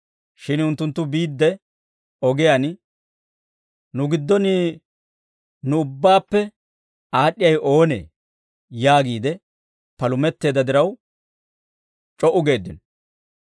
Shin unttunttu biidde ogiyaan, «Nu giddon nu ubbaappe aad'd'iyaawe oonee?» yaagiide palumetteedda diraw, c'o"u geeddino.